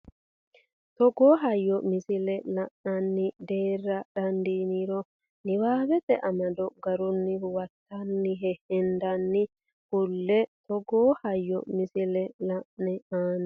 Togoo hayyo misile la ine aane daara dandaannore niwaawete amado garrunni huwattanno heddine kulle e Togoo hayyo misile la ine aane.